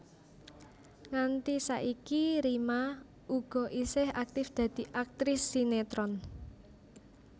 Nganti saiki Rima uga isih aktif dadi aktris sinetron